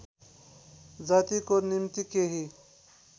जातिको निम्ति केही